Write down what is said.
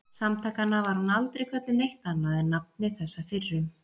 Samtakanna var hún aldrei kölluð neitt annað en nafni þessa fyrrum